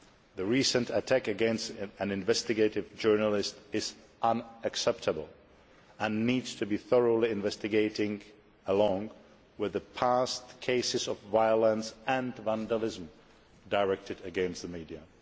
The recent attack against an investigative journalist is unacceptable and needs to be thoroughly investigated, along with past cases of violence and vandalism directed against the media.